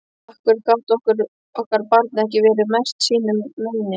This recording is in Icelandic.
Af hverju gat okkar barn ekki verið merkt sínu meini?